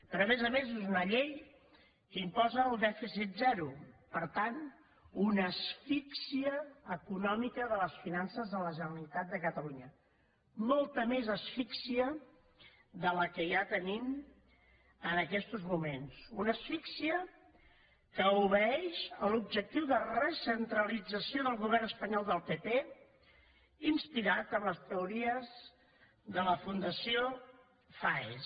però a més a més és una llei que imposa el dèficit zero per tant una asfíxia econòmica de les finances de la generalitat de catalunya molta més asfíxia que la que ja tenim en aquests moments una asfíxia que obeeix a l’objectiu de recentralització del govern espanyol del pp inspirat en les teories de la fundació faes